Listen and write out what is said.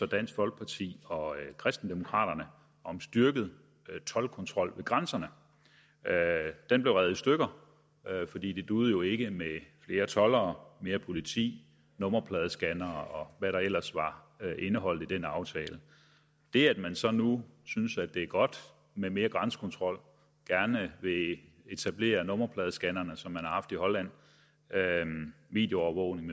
dansk folkeparti og kristendemokraterne om styrket toldkontrol ved grænserne den blev revet i stykker fordi det duede jo ikke med flere toldere mere politi nummerpladescannere hvad der ellers var indeholdt i den aftale det at man så nu synes at det er godt med mere grænsekontrol og gerne vil etablere nummerpladescannere som man har haft i holland videoovervågning